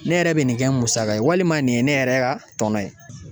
Ne yɛrɛ bɛ nin kɛ musaka ye walima nin ye ne yɛrɛ ka tɔnɔ ye